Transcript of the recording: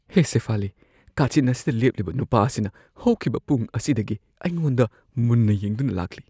ꯍꯦ ꯁꯦꯐꯥꯂꯤ, ꯀꯥꯆꯤꯟ ꯑꯁꯤꯗ ꯂꯦꯞꯂꯤꯕ ꯅꯨꯄꯥ ꯑꯁꯤꯅ ꯍꯧꯈꯤꯕ ꯄꯨꯡ ꯑꯁꯤꯗꯒꯤ ꯑꯩꯉꯣꯟꯗ ꯃꯨꯟꯅ ꯌꯦꯡꯗꯨꯅ ꯂꯥꯛꯂꯤ꯫